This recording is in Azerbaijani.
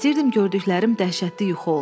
İstəyirdim gördüklərim dəhşətli yuxu olsun.